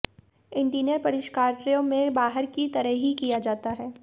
interior परिष्करण कार्यों में बाहर की तरह ही किया जाता है